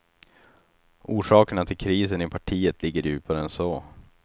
Orsakerna till krisen i partiet ligger djupare än så.